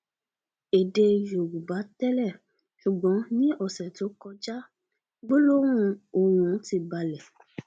èdè yorùbá tẹlẹ ṣùgbọn ní ọsẹ tó kọjá gbólóhùn ọhún ti balẹ